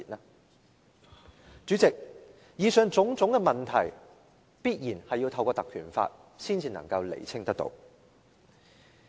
代理主席，以上種種問題必然要透過《條例》才能釐清。